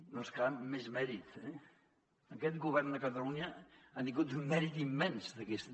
no és clar encara més mèrit eh aquest govern de catalunya ha tingut un mèrit immens d’aquest